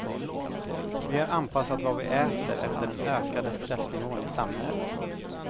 Vi har anpassat vad vi äter efter den ökade stressnivån i samhället.